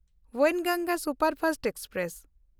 ᱵᱮᱱᱜᱚᱝᱜᱟ superfast express